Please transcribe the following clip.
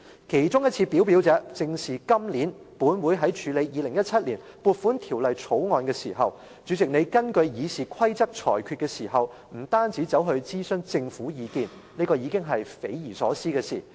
其中一次表表者，正是今年本會在處理《2017年撥款條例草案》時，主席，當你根據《議事規則》作出裁決時，不單諮詢政府意見——這已經是匪夷所思的事。